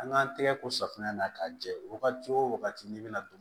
An k'an tɛgɛ ko safunɛ na k'a jɛ wagati o wagati n'i bɛna don